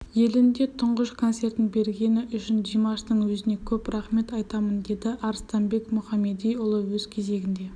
елінде тұңғыш концертін бергені үшін димаштың өзіне көп рақмет айтамын деді арыстанбек мұхамедиұлы өз кезегінде